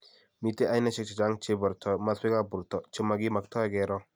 Mitei ainashiek chechang cheboru maswek ab borto chemakimaktoi keroo,